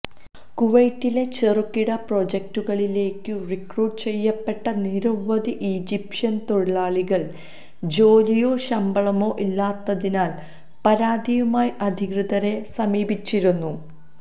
കുവൈത്തിലെ ചെറുകിട പ്രൊജക്റ്റുകളിലേക്കു റിക്രൂട്ട് ചെയ്യപ്പെട്ട നിരവധി ഈജിപ്ഷ്യൻ തൊഴിലാളികൾ ജോലിയോ ശമ്പളമോ ഇല്ലാത്തതിനാൽ പരാതിയുമായി അധികൃതരെ സമീപിച്ചിരുന്നു